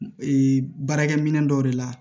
Ee baarakɛ minɛn dɔw de la